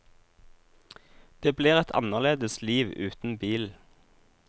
Det blir et annerledes liv uten bil.